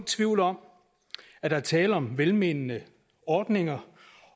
tvivl om at der er tale om velmenende ordninger